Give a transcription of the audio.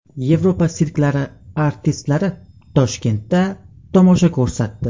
Yevropa sirklari artistlari Toshkentda tomosha ko‘rsatdi .